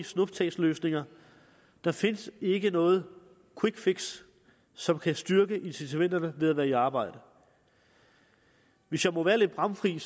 snuptagsløsninger der findes ikke noget quick fix som kan styrke incitamenterne til at være i arbejde hvis jeg må være lidt bramfri